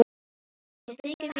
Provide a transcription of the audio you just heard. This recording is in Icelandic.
Mér þykir mjög vænt um Davíð.